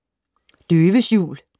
Døves jul